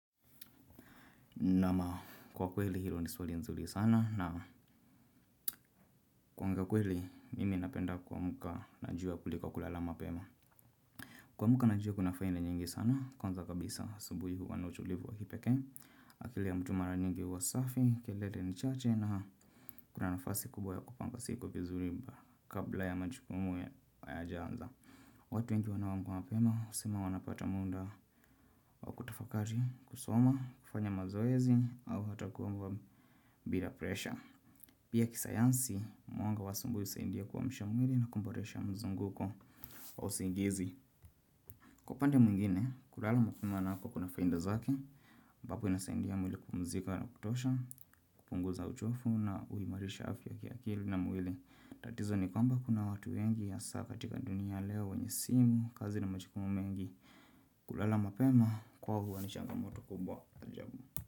Naam, kwa kweli hilo ni swali nzuri sana na kuongea kweli mimi napenda kuamka na jua kuliko kulala mapema. Kuamka na jua kuna faida nyingi sana. Kwanza kabisa asubuhi huwa na utulivu wa kipekee, akili ya mtu mara nyingi huwa safi, kelele ni chache na kuna nafasi kubwa ya kupanga siku vizuri kabla ya majukumu hayajaanza. Watu wengi wanaoamka mapema husema wanapata muda wakutafakari kusoma, kufanya mazoezi au hata kuomba bila presha. Pia kisayansi, mwanga wa asubuhi husaidia kuamsha mwili na kuboresha mzunguko wa usingizi. Kwa upande mwingine, kulala mapema nako kuna faida zake ambapo inasaidia mwili kupumzika na kutosha, kupunguza uchovu na huimarisha afya ya kiakili na mwili. Tatizo ni kwamba kuna watu wengi hasaa katika dunia ya leo, wenye simu, kazi na majukumu mengi. Kulala mapema, kwao huwa ni changamoto kubwa, ajabu.